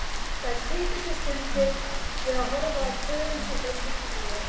Þær styttu sér stundir við að horfa á pörin sem leiddust í bíó.